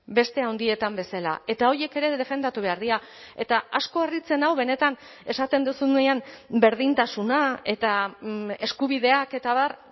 beste handietan bezala eta horiek ere defendatu behar dira eta asko harritzen nau benetan esaten duzunean berdintasuna eta eskubideak eta abar